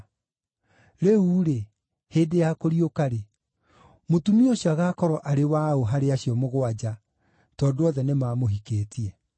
Rĩu-rĩ, hĩndĩ ya kũriũka-rĩ, mũtumia ũcio agaakorwo arĩ wa ũ harĩ acio mũgwanja, tondũ othe nĩmamũhikĩtie?”